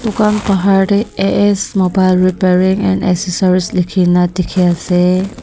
kan bahar te A_S mobile repairing and accessories likhi ne dikhi ase.